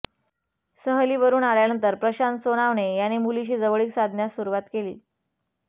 सहलीवरून आल्यानंतर प्रशांत सोनावणे याने मुलीशी जवळीक साधण्यास सुरुवात केली